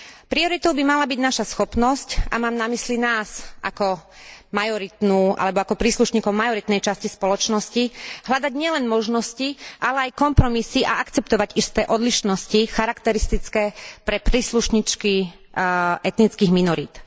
Prioritou by mala byť naša schopnosť, a mám na mysli nás ako majoritnú alebo ako príslušníkov majoritnej časti spoločnosti, hľadať nielen možnosti, ale aj kompromisy a akceptovať isté odlišnosti charakteristické pre príslušníčky etnických minorít.